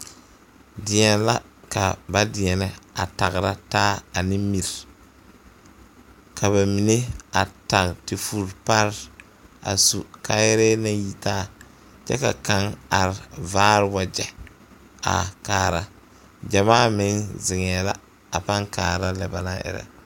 Deɛn la ka ba deɛnɛ a tagra taa ne mire ka ba mine a tage te vuri pare a su kaayɛrɛɛ maŋ yitaa kyɛ ka kaŋ are vaao wagyɛ a kaara gyamaameŋ ziŋɛɛ la a paŋ kaara lɛ ba naŋ erɛ.